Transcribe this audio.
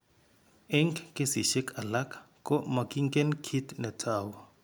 Eng' kesishek alak ko makingen kit netou.